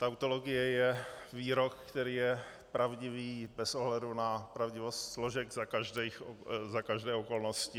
Tautologie je výrok, který je pravdivý bez ohledu na pravdivost složek za každé okolnosti.